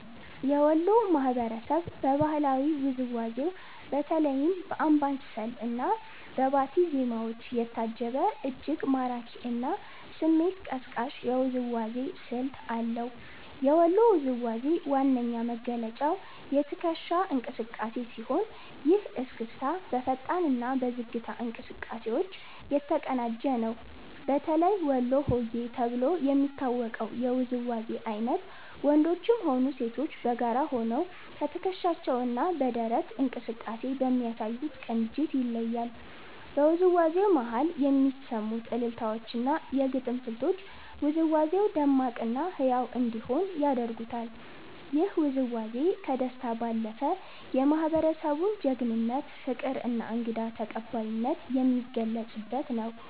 የወሎ ማህበረሰብ በባህላዊ ውዝዋዜው በተለይም በአምባሰል እና በባቲ ዜማዎች የታጀበ፤ እጅግ ማራኪ እና ስሜት ቀስቃሽ የውዝዋዜ ስልት አለው። የወሎ ውዝዋዜ ዋነኛ መገለጫው የትከሻ እንቅስቃሴ ሲሆን፤ ይህ እስክስታ በፈጣን እና በዝግታ እንቅስቃሴዎች የተቀናጀ ነው። በተለይ ወሎ ሆዬ ተብሎ የሚታወቀው የውዝዋዜ አይነት ወንዶችም ሆኑ ሴቶች በጋራ ሆነው በትከሻቸው እና በደረት እንቅስቃሴ በሚያሳዩት ቅንጅት ይለያል። በውዝዋዜው መሃል የሚሰሙት አልልታዎች እና የግጥም ስልቶች ውዝዋዜው ደማቅ እና ህያው እንዲሆን ያደርጉታል። ይህ ውዝዋዜ ከደስታ ባለፈ፣ የማህበረሰቡን ጀግንነት፣ ፍቅር እና እንግዳ ተቀባይነት የሚገልጽበት ነው።